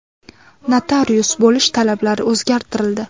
Notarius bo‘lish talablari o‘zgartirildi.